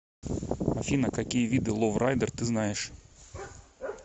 афина какие виды ловрайдер ты знаешь